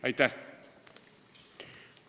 Aitäh!